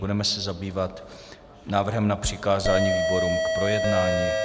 Budeme se zabývat návrhem na přikázání výborům k projednání.